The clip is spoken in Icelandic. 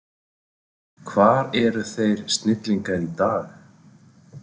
Hvar eru þeir snillingar í dag?